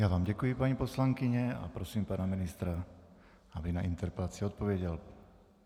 Já vám děkuji, paní poslankyně, a prosím pana ministra, aby na interpelaci odpověděl.